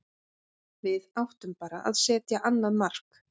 Við áttum bara að setja annað mark.